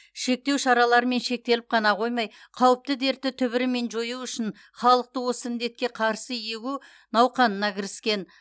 шектеу шараларымен шектеліп қана қоймай қауіпті дертті түбірімен жою үшін халықты осы індетке қарсы егу науқанына кіріскен